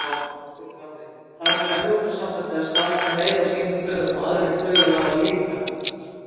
Höskuldur Kári: Þarf Evrópusambandið að slaka meira á sínum kröfum og aðrir kröfuhafar líka?